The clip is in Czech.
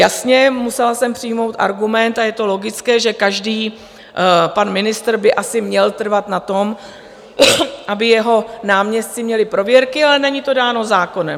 Jasně, musela jsem přijmout argument, a je to logické, že každý pan ministr by asi měl trvat na tom, aby jeho náměstci měli prověrky, ale není to dáno zákonem.